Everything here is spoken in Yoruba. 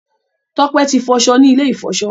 Tope tí foso ní ilè ifọṣọ.